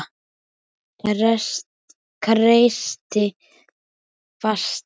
Kreisti fastar.